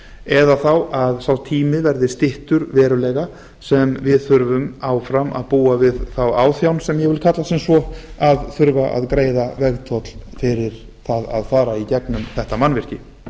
eða þá að sá tími verði styttur verulega sem við þurfum áfram að búa við þá áþján sem ég vil kalla sem svo að þurfa að greiða vegtoll fyrir það að fara í gegnum þetta mannvirki